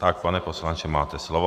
Tak, pane poslanče, máte slovo.